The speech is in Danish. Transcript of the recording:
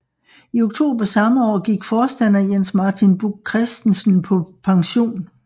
I oktober samme år gik forstander Jens Martin Buch Kristensen på pension